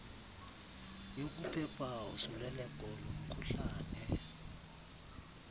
yokuphepha usuleleko lomkhuhlane